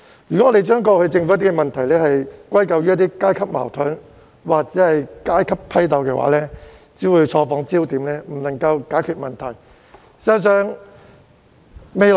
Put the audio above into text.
如果大家將政府過去的問題歸咎於階級矛盾或階級批鬥，只是錯放焦點，無法解決問題的。